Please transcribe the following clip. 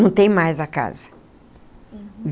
Não tem mais a casa.